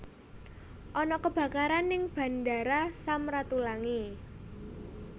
Ana kebakaran ning Bandara Sam Ratulangi